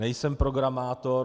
Nejsem programátor.